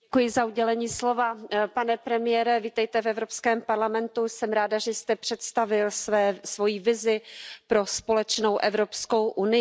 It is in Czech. Pane premiére, vítejte v Evropském parlamentu, jsem ráda, že jste představil svoji vizi pro společnou Evropskou unii.